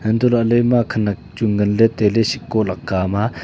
untoh lahlay ma khenak chu nganley tailey sheko laka ham a.